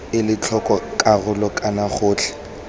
ela tlhoko karolo kana gotlhe